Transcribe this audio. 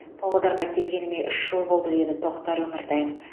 павлодарға келгеніме үш жыл болды деді тоқтар өміртаев